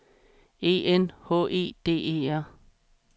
E N H E D E R